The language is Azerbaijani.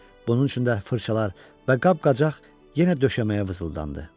Bunun üçün də fırçalar və qab-qacaq yenə döşəməyə vızıldandı.